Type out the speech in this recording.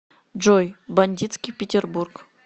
джой бандитский петербург